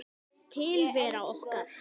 Tilvera okkar